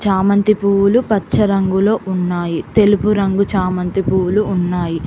చామంతి పువ్వులు పచ్చ రంగులో ఉన్నాయి తెలుపు రంగు చామంతి పూవ్వులు ఉన్నాయి.